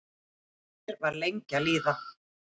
Desember var lengi að líða.